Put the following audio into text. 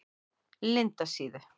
Lindasíðu